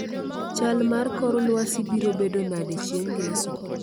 Chal mar kor lwasi biro bedo nade chieng' ngeso